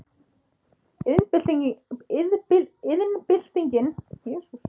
Iðnbyltingin í Bretlandi var varla hafin, vélvæðing nánast engin og allur tækjabúnaður mjög frumstæður.